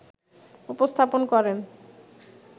উপস্থাপন করেন